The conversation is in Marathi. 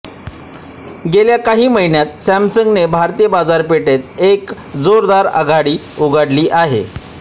गेल्या काही महिन्यांत सॅमसंगने भारतीय बाजारपेठेत एक जोरदार आघाडी उघडली आहे